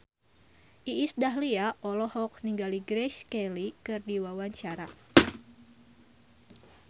Iis Dahlia olohok ningali Grace Kelly keur diwawancara